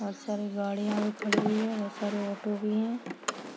बहोत सारी गाड़ियां भी खड़ी हुई है बहोत सारे ऑटो भी है।